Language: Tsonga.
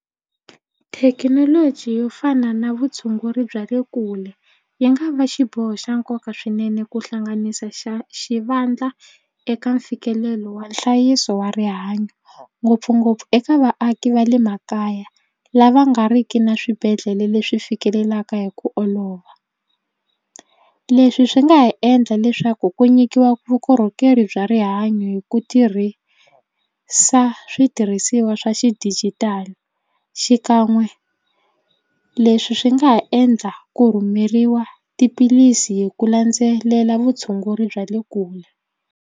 Thekinoloji yo fana na vutshunguri bya le kule yi nga va xiboho xa nkoka swinene ku hlanganisa xa xivandla eka mfikelelo wa nhlayiso wa rihanyo ngopfungopfu eka vaaki va le makaya lava nga riki na swibedhlele leswi fikelelaka hi ku olova. Leswi swi nga ha endla leswaku ku nyikiwa vukorhokeri bya rihanyo hi ku tirhisa switirhisiwa swa xidijitali xikan'we leswi swi nga ha endla ku rhumeriwa tiphilisi hi ku landzelela vutshunguri bya le kule.